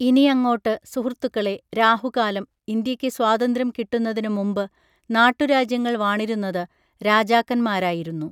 ഇനിയങ്ങോട്ട് സുഹൃത്തുക്കളേ രാഹുകാലം ഇന്ത്യക്ക് സ്വാതന്ത്ര്യം കിട്ടുന്നതിനുമുമ്പ് നാട്ടുരാജ്യങ്ങൾ വാണിരുന്നത് രാജാക്കൻമാരായിരുന്നു